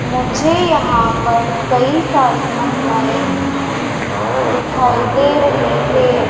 मुझे यहां पर कई सारी महिलाएं दिखाई दे रही है।